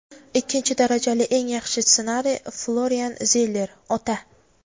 Ikkinchi darajali eng yaxshi ssenariy – Florian Zeller ("Ota");.